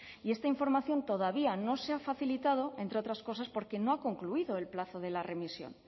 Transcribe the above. y esta información todavía no se ha facilitado entre otras cosas porque no ha concluido el plazo de la remisión